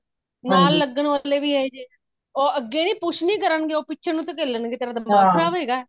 ਨਾਲ ਲੱਗਣ ਵਾਲੇ ਵੀ ਇਹੀ ਜੇ ਉਹ ਅਗੇ ਨੂੰ push ਨਹੀਂ ਕਰਨਗੇ ਉਹ ਪਿੱਛੇ ਨੂੰ ਧਕੇਲਣ ਗੇ ਤੇਰਾ ਦਿਮਾਗ ਖਰਾਬ ਹੈਗਾ